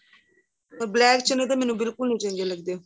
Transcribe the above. ਪਰ black ਚੰਨੇ ਤਾਂ ਮੈਨੂੰ ਬਿਲਕੁਲ ਵੀ ਨਹੀਂ ਚੰਗੇ ਲੱਗਦੇ